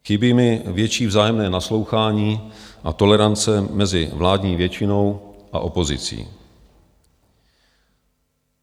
Chybí mi větší vzájemné naslouchání a tolerance mezi vládní většinou a opozicí.